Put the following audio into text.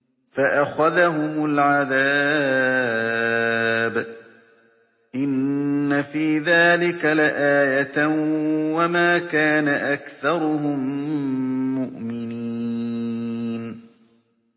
فَأَخَذَهُمُ الْعَذَابُ ۗ إِنَّ فِي ذَٰلِكَ لَآيَةً ۖ وَمَا كَانَ أَكْثَرُهُم مُّؤْمِنِينَ